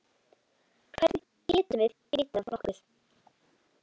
Hvernig getum við vitað nokkuð?